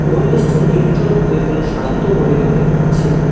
পরিবেশটি নির্জন ও এবং শান্ত বলে মনে হচ্ছে।